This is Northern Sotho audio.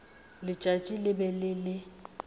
letšatši le be le le